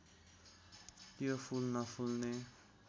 यो फूल नफुल्ने